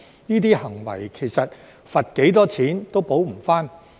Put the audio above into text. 這些行為其實罰多少錢都無法補償。